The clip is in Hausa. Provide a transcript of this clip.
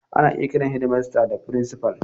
Ana iya kiran shedimasta da frincifal.